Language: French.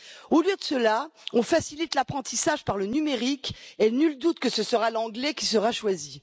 Au lieu de cela, on facilite l'apprentissage par le numérique et nul doute que ce sera l'anglais qui sera choisi.